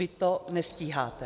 Vy to nestíháte.